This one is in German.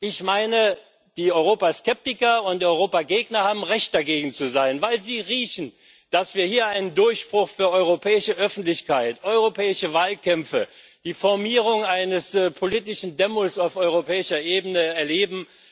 Ich meine, die Europaskeptiker und Europagegner haben Recht, dagegen zu sein, weil sie riechen, dass wir hier einen Durchbruch für europäische Öffentlichkeit, europäische Wahlkämpfe, die Formierung eines politischen Demos auf europäischer Ebene erleben.